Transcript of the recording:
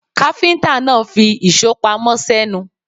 Káfíńtà náà fi ìṣó pamọ́ sẹ́nu.